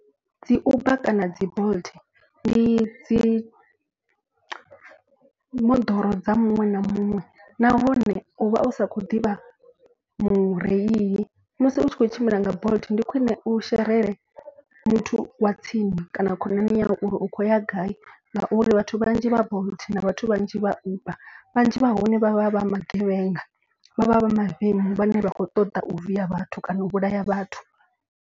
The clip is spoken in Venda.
Dzi uber kana dzi bolt ndi dzi moḓoro dza muṅwe na muṅwe. Nahone u vha u sa khou ḓivha mureili musi u tshi kho tshimbila nga bolt ndi khwine u sherele muthu wa tsini kana khonani yau. Uri u khou ya gai ngauri vhathu vhanzhi vha bolt na vhathu vhanzhi vha uber. Vhanzhi vha hone vha vha vha magevhenga vha vha vha mavemu vhane vha khou ṱoḓa u viya vhathu kana u vhulaya vhathu.